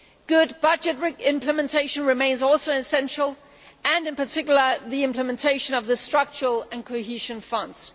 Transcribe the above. Good budgetary implementation remains also essential and in particular the implementation of the structural and cohesion funds.